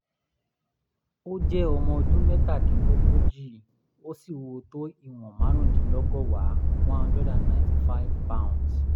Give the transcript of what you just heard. ó jẹ́ ọmọ ọdún mẹ́tàdínlógójì ó sì wúwo tó ìwọ̀n márùndínlọ́gọ́wàá (195) lbs